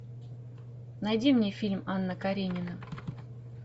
найди мне фильм анна каренина